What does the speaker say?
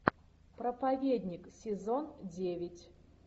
проповедник сезон девять